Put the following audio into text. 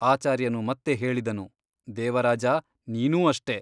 ಆಚಾರ್ಯನು ಮತ್ತೆ ಹೇಳಿದನು ದೇವರಾಜ ನೀನೂ ಅಷ್ಟೇ !